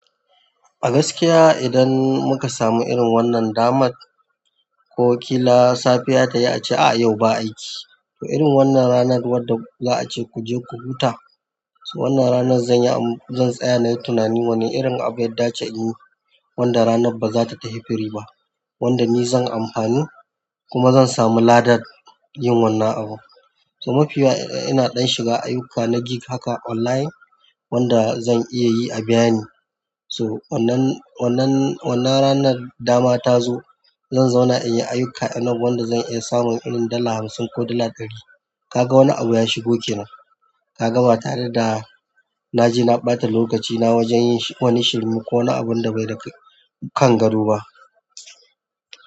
A gaskiya idan muka samu irin wannan damar ko ƙila safiya ta yi a ce a yau ba aiki. To irin wannan ranar wanda za a ce ku je ku huta. To wannan ranan zan saya in yi tunani wani irin abu ya dace inyi wanda ranan bazata tafi free ba, wanda ni zan amfani kuma zan samu ladan yin wannan abun. To mafi yawa ina ɗan shiga aiyuka na gig haka online wanda zan iya yi a biya ni. So wannan, wannan, wannan ranar dama ta zo zan zauna in yi ayuka enough wanda zan iya samun irin dala hamsin ko dala ɗari. Kaga wani abu ya shigo kenan. Ka ga ba tare da na je na ɓata lokacina wajen yin wani shirme ko wani abun da bai da kan gado ba.